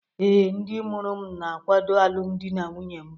Ee, ndị mụrụ m na-akwado alụmdi na nwunye m